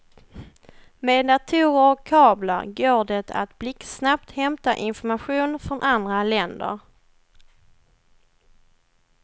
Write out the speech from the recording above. Med datorer och kablar går det att blixtsnabbt hämta information från andra länder.